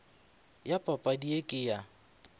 ya padi ye ke ya